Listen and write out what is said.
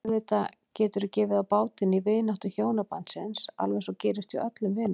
Auðvitað getur gefið á bátinn í vináttu hjónabandsins alveg eins og gerist hjá öllum vinum.